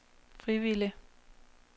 frivillige